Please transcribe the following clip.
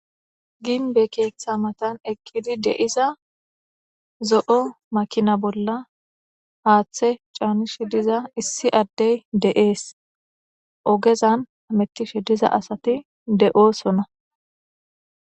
Gimbey keetha mata eqida issi makinaza bolla haathe canishe diza issi addezi de'es. ogeza hamutishe diza asati de'osona.